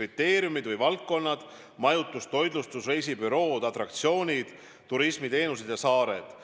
kriteeriumid või valdkonnad: majutus, toitlustus, reisibürood, atraktsioonid, turismiteenused ja saared.